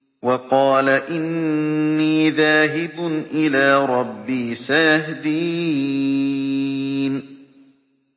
وَقَالَ إِنِّي ذَاهِبٌ إِلَىٰ رَبِّي سَيَهْدِينِ